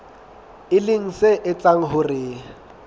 e leng se etsang hore